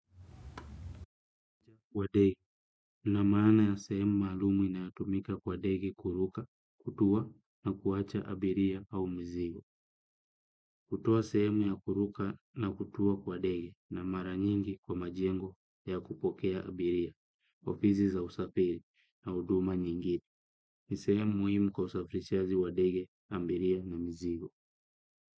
Na maana ya sehemu maalumu inayotumika kwa ndege kuruka, kutua na kuacha abiria au mzigo. Hutowa sehemu ya kuruka na kutuwa kwa ndege na maranyingi kwa majengo ya kupokea abiria. Ofizi za usafiri na huduma nyingi. Nisehemu muhimu kwa usafirishaji wa ndege, abiria na mzigo.